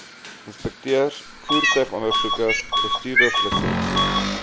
inspekteurs voertuigondersoekers bestuurslisensie